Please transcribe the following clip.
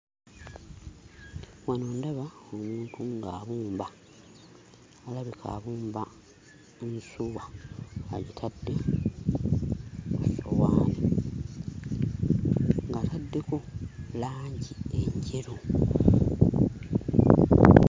Wano ndaba omuntu ng'abumba. Alabika abumba ensuwa, agitadde ku ssowaani ng'ataddeko langi enjeru.